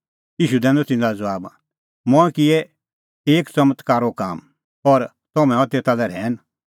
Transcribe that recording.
ईशू दैनअ तिन्नां लै ज़बाब मंऐं किअ एक च़मत्कारो काम और तम्हैं हआ तेता लै रहैन